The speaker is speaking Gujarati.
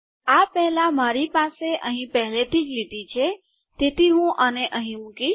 આ પહેલાં મારી પાસે અહીં પહેલેથી જ લીટી છે તેથી હું આને અહીં મુકીશ